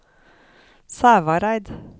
Sævareid